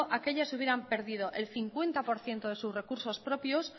aquellas hubieran perdido el cincuenta por ciento de sus recursos propios